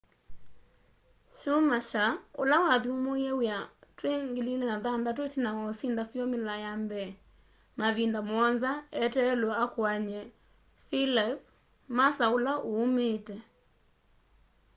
schumacher ula wathyumuie wia twi 2006 itina wa usinda formular 1 mavinda muonza eteelwe akuany'e felipe massa ula uumiite